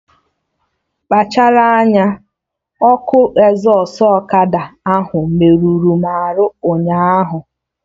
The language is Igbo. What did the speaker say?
Kpachara anya! Ọkụ ezọstụ ọkada ahụ merụrụ m arụ ụnyaahụ!